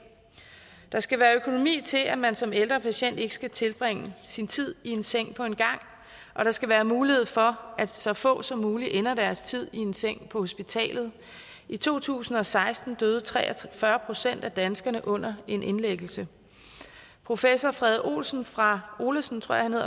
der skal være økonomi til at man som ældre patient ikke skal tilbringe sin tid i en seng på en gang og der skal være mulighed for at så få som muligt ender deres tid i en seng på hospitalet i to tusind og seksten døde tre og fyrre procent af danskerne under en indlæggelse professor frede olesen fra olesen